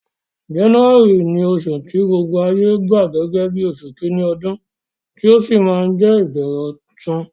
January ni osù ti gbogbo ayé gba gẹ́gẹ́ bí osù kíní odún, ti ó si ma je ìbẹ̀rẹ̀ ọ̀tun